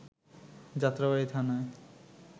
যাত্রাবাড়ি থানায়